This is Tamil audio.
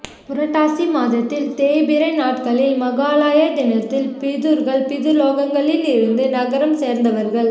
புரட்டாதி மாதத்தில் தேய்பிறை நாட்களில் மகாளய தினத்தில் பிதுர்கள் பிதுர்லோகங்களில் இருந்தும் நரகம் சேர்ந்தவர்கள்